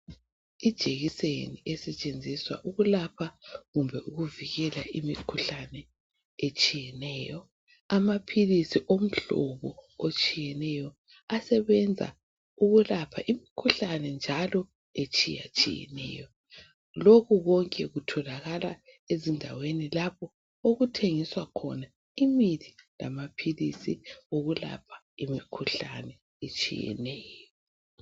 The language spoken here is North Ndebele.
Ijekiseni esetshenziswa ukulapha kumbe ukuvikela imikhuhlane etshiyeneyo. Amaphilizi omhlobo otshiyeneyo asebenza ukulapha imikhuhlane njalo etshiyetshiyeneyo. Lokhu konke kutholakala ezindaweni lapho okuthengiswa khona imithi lamaphilizi okulapha imikhuhlane etshiyeneyo.